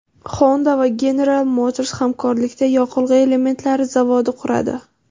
Honda va General Motors hamkorlikda yoqilg‘i elementlari zavodi quradi .